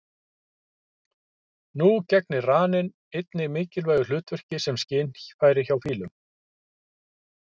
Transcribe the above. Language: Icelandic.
Nú gegnir raninn einnig mikilvægu hlutverki sem skynfæri hjá fílum.